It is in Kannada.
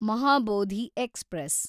ಮಹಾಬೋಧಿ ಎಕ್ಸ್‌ಪ್ರೆಸ್